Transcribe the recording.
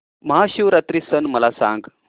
महाशिवरात्री सण मला सांग